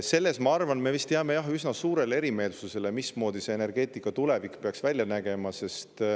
Ma arvan, et selles me vist jääme eri, mismoodi see energeetika tulevik peaks välja nägema.